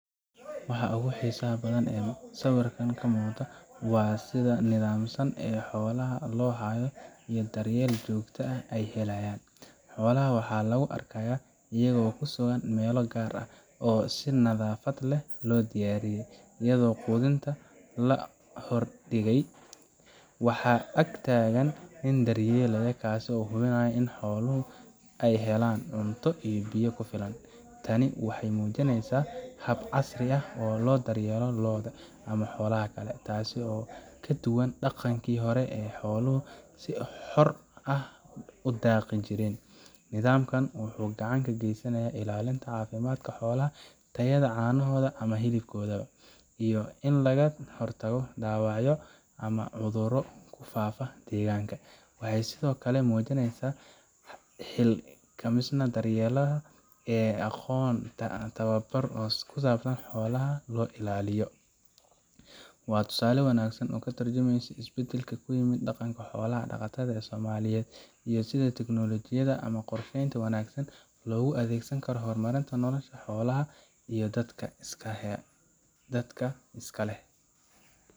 Waxa ugu xiisaha badan ee sawirkan ka muuqda waa sida nidaamsan ee xoolaha loo hayo iyo daryeelka joogtada ah ee ay helayaan. Xoolaha waxaa lagu arkayaa iyagoo ku sugan meelo gaar ah, oo si nadaafad leh loo diyaariyey, iyadoo quudinta la hor dhigay. Waxaa ag taagan nin daryeelaya, kaas oo hubinaya in xooluhu ay helaan cunto iyo biyo ku filan. Tani waxay muujinaysaa hab casri ah oo loo daryeelo lo’da ama xoolaha kale, taas oo ka duwan dhaqankii hore ee xooluhu si xor ah u daaqi jireen. Nidaamkan wuxuu gacan ka geysanayaa ilaalinta caafimaadka xoolaha, tayada caanahooda ama hilibkooda, iyo in laga hortago dhaawacyo ama cudurro ku faafa deegaanka. Waxay sidoo kale muujinaysaa xilkasnimada daryeelaha oo leh aqoon ama tababar ku saabsan sida xoolaha loo ilaaliyo. Waa tusaale wanaagsan oo ka tarjumaya isbeddelka ku yimid dhaqanka xoolo dhaqatada Soomaaliyeed iyo sida teknoolojiyadda ama qorsheynta wanaagsan loogu adeegsan karo horumarinta nolosha xoolaha iyo dadka iska leh.